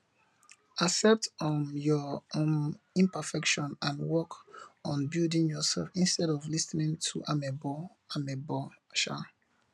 accept um your um imperfections and work on building yourself instead of lis ten ing to amebo amebo um